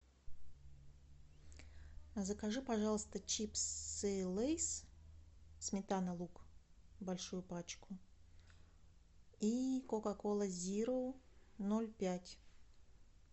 закажи пожалуйста чипсы лейс сметана лук большую пачку и кока кола зеро ноль пять